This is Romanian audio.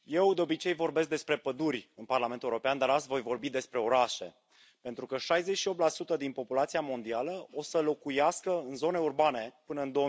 Domnule Președinte, eu de obicei vorbesc despre păduri în Parlamentul European, dar azi voi vorbi despre orașe, pentru că 68 din populația mondială o să locuiască în zone urbane până în